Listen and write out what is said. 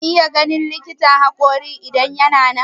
Zan iya ganin likitan haƙorin idan yana nan?